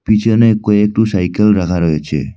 পিছনে কয়েকটু সাইকেল রাখা রয়েছে।